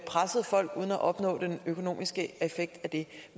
presset folk uden at opnå den økonomiske effekt af det